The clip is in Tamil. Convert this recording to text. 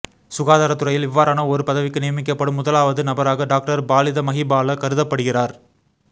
சுகாதாரத் துறையில் இவ்வாறான ஒரு பதவிக்கு நியமிக்கப்படும் முதலாவது நபராக டாக்டர் பாலித மஹிபால கருதப்படுகிறார்